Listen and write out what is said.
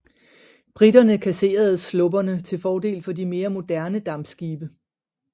Briterne kasserede slupperne til fordel for de mere moderne dampskibe